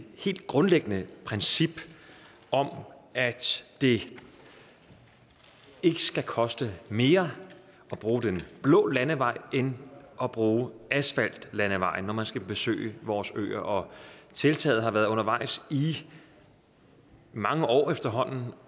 helt grundlæggende princip om at det ikke skal koste mere at bruge den blå landevej end at bruge asfaltlandevejen når man skal besøge vores øer tiltaget har været undervejs i mange år efterhånden